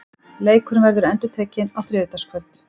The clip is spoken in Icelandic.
Leikurinn verður endurtekinn á þriðjudagskvöld.